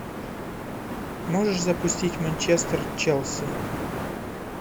можешь запустить манчестер челси